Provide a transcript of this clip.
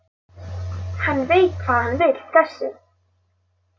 Hann veit hvað hann vill þessi!